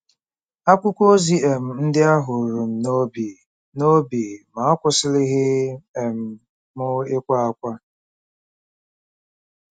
Akwụkwọ ozi um ndị ahụ ruru m n’obi, n’obi, ma akwụsịlighị um m ịkwa ákwá.